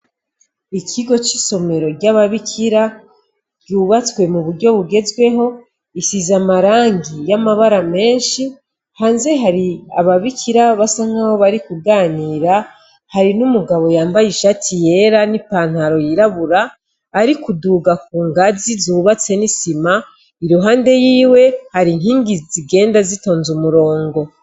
Ikigo c'isomero ry'ababikira ryubatswe mu buryo bugezweho isiza amarangi y'amabara menshi hanze hari ababikira basankabo bari kuganira hari n'umugabo yambaye ishati yera n'ipantaro yirabura ari kuduga ku ngazi zubatse n'isima i ruhande yiwe hari intingi zigenda zitonze umurongo.